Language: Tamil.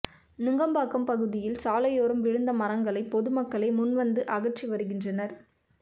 நுங்கம்பாக்கம் பகுதியில் சாலையோரம் விழுந்த மரங்களை பொதுமக்களே முன்வந்து அகற்றி வருகின்றனர்